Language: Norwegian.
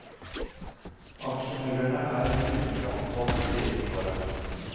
Aksjemeglerne er fyldig omtalt på siden foran.